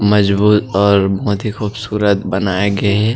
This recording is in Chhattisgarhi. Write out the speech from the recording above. मजबूत और बहुत ही खूबसूरत बनाये गे हे।